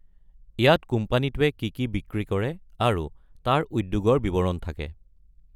ইয়াত কোম্পানীটো কি কি বিক্ৰী কৰে আৰু তাৰ উদ্যোগৰ বিৱৰণ থাকে।